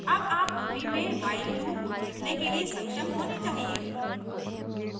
अब आप ruby में while लूप लिखने के लिए सक्षम होने चाहिए